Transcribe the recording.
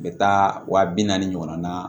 U bɛ taa wa bi naani ɲɔgɔn na